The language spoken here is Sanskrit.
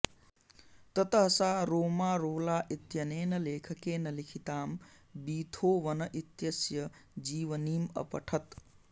ततः सा रोमारोला इत्यनेन लेखकेन लिखितां बीथोवन इत्यस्य जीवनीम् अपठत्